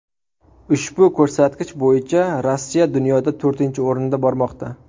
Ushbu ko‘rsatkich bo‘yicha Rossiya dunyoda to‘rtinchi o‘rinda bormoqda.